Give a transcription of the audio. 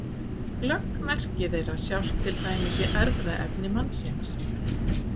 Glögg merki þeirra sjást til dæmis í erfðaefni mannsins.